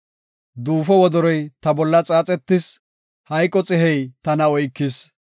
Duufo wodoroy ta bolla xaaxetis; hayqo xihey tana oykis.